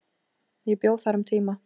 Ég bjó þar um tíma.